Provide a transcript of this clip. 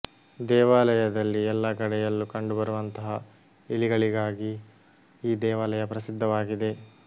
ದೇವಾಲಯದಲ್ಲಿ ಎಲ್ಲಾ ಕಡೆಯಲ್ಲೂ ಕಂಡುಬರುವಂತಹ ಇಲಿಗಳಿಗಾಗಿ ಈ ದೇವಾಲಯ ಪ್ರಸಿದ್ಧವಾಗಿದೆ